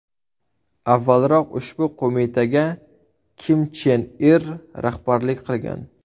Avvalroq ushbu qo‘mitaga Kim Chen Ir rahbarlik qilgan.